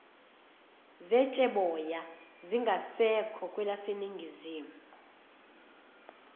zetsheboya zingasekho kwelaseningizimu